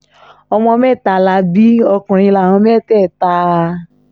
ọmọ mẹ́ta la bí ọkùnrin láwọn mẹ́tẹ̀ẹ̀ta